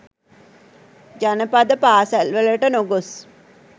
ජනපද පාසැල් වලට නොගොස්